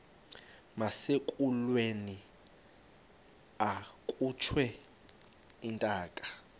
nasekulweni akhutshwe intaka